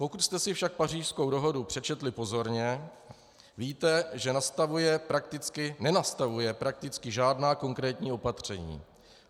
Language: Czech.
Pokud jste si však Pařížskou dohodu přečetli pozorně, víte, že nestanovuje prakticky žádná konkrétní opatření.